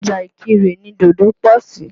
Ọjà Ìkìrè ni dòdò pọ̀ sí.